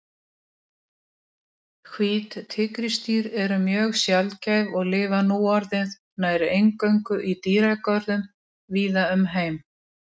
Reynsluboltarnir Rakel Logadóttir úr Val og Anna Björg Björnsdóttir úr Fylki eru svo fremstar.